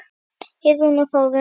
Heiðrún og Þórunn.